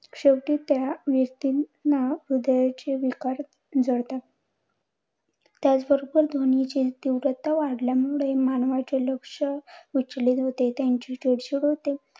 शेवटी त्या व्यक्तींना हृदयाचे विकार जडतात. त्याचबरोबर ध्वनीची तीव्रता वाढल्यामुळे मानवाचे लक्ष विचलित होते. त्यांची चिडचिड होते.